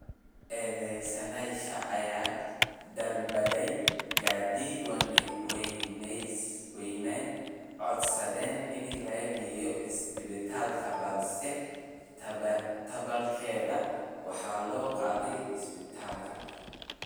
Eedeysanayaasha ayaa dalbaday gaadiid, waxayna codsadeen in la geeyo isbitaalka balse taa beddelkeeda waxaa loo qaaday isbitaalka.